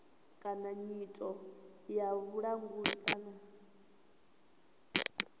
kana nyito ya vhulanguli kana